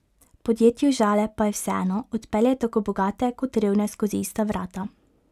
Podjetju Žale pa je vseeno, odpelje tako bogate kot revne skozi ista vrata.